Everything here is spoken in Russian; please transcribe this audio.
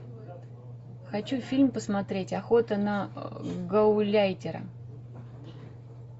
хочу фильм посмотреть охота на гауляйтера